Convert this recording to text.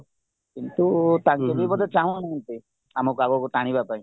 କିନ୍ତୁ ତାଙ୍କେ ବି ବୋଧେ ଚାଁହୁନାହାନ୍ତି ଆମ ପାଖକୁ ଟାଣିବା ପାଇଁ